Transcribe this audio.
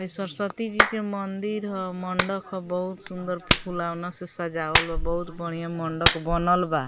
इ सरस्वती जी के मंदिर ह मंडक ह बहुत सुन्दर फुलोवना से सजावल ह बहुत बढ़िया मंडक बनल बा।